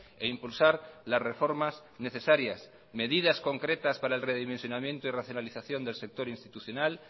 e impulsar las reformas necesarias medidas concretas para el redimensionamiento y racionalización del sector institucional